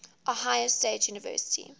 ohio state university